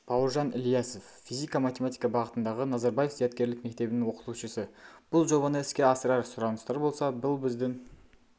бауыржан ілиясов физика-математика бағытындағы назарбаев зияткерлік мектебінің оқытушысы бұл жобаны іске асырар сұраныстар болса бұл біздің